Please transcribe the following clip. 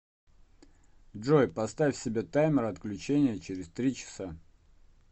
джой поставь себе таймер отключения через три часа